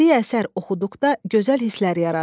Bədii əsər oxuduqda gözəl hisslər yaradır.